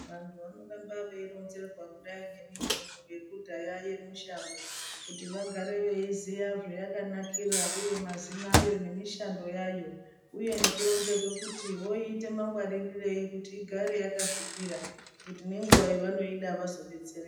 Vantu vanorambe veironzerwa kudayi ngemitombo yekudhaya yemushango kuti vagare veiziya zvayakanakira uye mazina ayo nemishando yayo uye nekuronzerwa kuti voiite mangwaririrei kuti igare yakasvipira ngekuti ngenguwa yavanoida vazodetsereka.